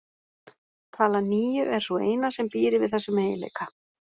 Talan níu er sú eina sem býr yfir þessum eiginleika.